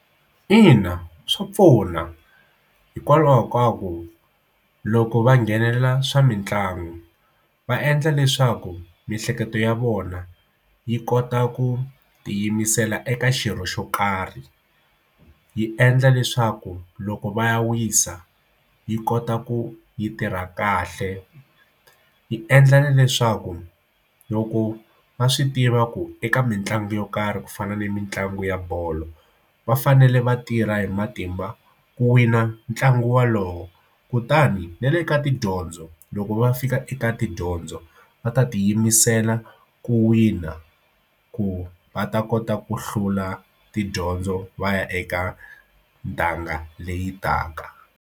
Ina swa pfuna hikwalaho ka ku loko va nghenelela swa mitlangu va endla leswaku miehleketo ya vona yi kota ku tiyimisela eka xirho xo karhi yi endla leswaku loko va ya wisa yi kota ku yi tirha kahle yi endla na leswaku loko va swi tiva ku eka mitlangu yo karhi ku fana ni mitlangu ya bolo va fanele va tirha hi matimba ku wina ntlangu walowo kutani na le ka tidyondzo loko va fika eka tidyondzo va ta tiyimisela ku wina ku va ta kota ku hlula tidyondzo va ya eka ntanga leyi taka.